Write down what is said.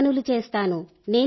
ఇంటి పనులు చేస్తాను